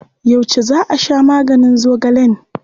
Yauce za a sha maganin zogalen?